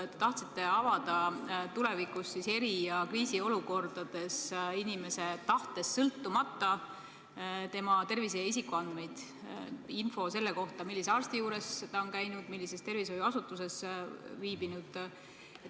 Te tahtsite tulevikus eri- ja kriisiolukordades avada inimese tahtest sõltumata tema tervise- ja isikuandmeid, info selle kohta, millise arsti juures ta on käinud ja millises tervishoiuasutuses viibinud.